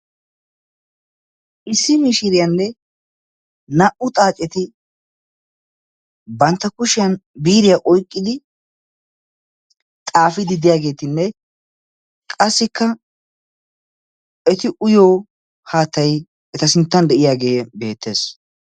Issi mishiriyaanne naa"u xaaceti bantta kushiyaan biiriyaa oyqqidi xaafidi de'iyaagetinne qassikka eti uyiyoo haattay eta sinttan de'iyaagee beettees.